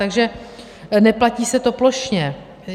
Takže neplatí se to plošně.